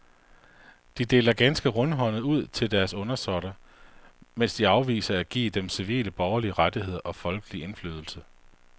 De deler ganske rundhåndet ud til deres undersåtter, mens de afviser at give dem civile borgerlige rettigheder og folkelig indflydelse.